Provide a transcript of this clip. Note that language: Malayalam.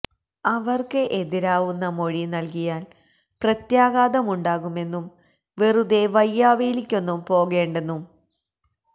അവര്ക്ക് എതിരാവുന്ന മൊഴിനല്കിയാല് പ്രത്യാഘാതമുണ്ടാകുമെന്നും വെറുതെ വയ്യാവേലിക്കൊന്നും പോകേണ്ടെന്നും ഡോ